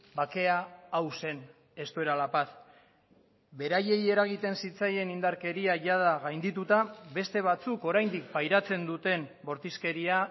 bakea hau zen esto era la paz beraiei eragiten zitzaien indarkeria jada gaindituta beste batzuk oraindik pairatzen duten bortizkeria